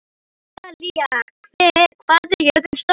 Rósalía, hvað er jörðin stór?